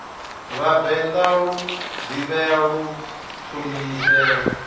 vhavenḓa lu ḓivhee lu ṱhonifhee